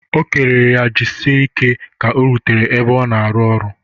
O kelere ya jisike ka o rutere ebe ọ na-arụ ọrụ.